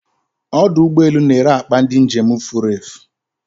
Odụ ụgbọ elù n'ere akpa ndị njem furefu